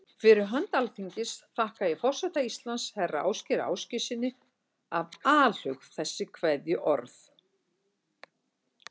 Fyrir hönd Alþingis þakka ég forseta Íslands, herra Ásgeiri Ásgeirssyni, af alhug þessi kveðjuorð.